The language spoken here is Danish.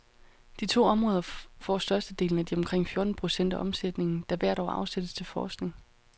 De to områder får størstedelen af de omkring fjorten procent af omsætningen, der hvert år afsættes til forskning.